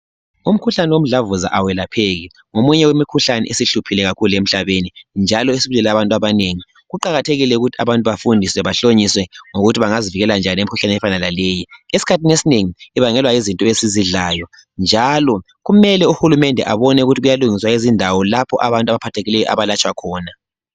Umkhuhlane womdlavuva awelapheki, ngomunye wemikhuhlane esihluphile kakhulu emhlabeni, njalo osubulele abantu abanengi. Kuqakathekile ukuthi abantu bafundiswe, bahlonyiswe ngokuthi bangazivikela njani emkhuhlaneni efana laleyi. Esikhathini esinengi ibangelwa yizinto esizidlayo njalo kumele uhulumende abone ukuthi kuyalungissa izindawo lapho abantu abaphathekileyo abalatshwa khona.